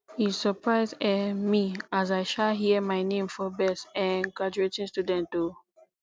e surprise um me as i um hear my name for best um graduating student o